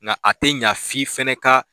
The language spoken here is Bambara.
Nka a tɛ ɲɛ f'i fana ka